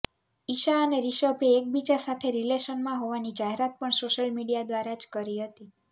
ઈશા અને રિષભે એકબીજા સાથે રિલેશનમાં હોવાની જાહેરાત પણ સોશિયલ મીડિયા દ્વારા જ કરી હતી